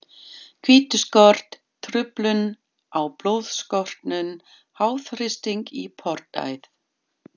hvítuskort, truflun á blóðstorknun, háþrýsting í portæð.